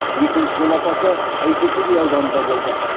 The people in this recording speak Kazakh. екінші жол апаты әйтеке би ауданында болды